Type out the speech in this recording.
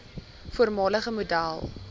voormalige model